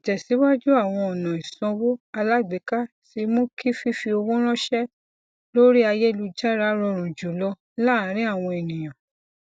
ìtẹsíwájú àwọn ọnà ìsanwó alágbèéká ti mú kí fífi owó ránṣẹ lórí ayélujára rọrùn jùlọ láàrin àwọn ènìyàn